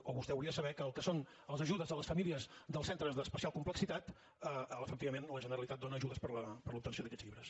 o vostè ho hauria de saber que el que són les ajudes a les famílies dels centres d’especial complexitat efectivament la generalitat dóna ajudes per a l’obtenció d’aquests llibres